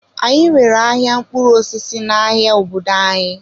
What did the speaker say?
Anyị nwere ahịa mkpụrụ osisi n'ahịa obodo anyị.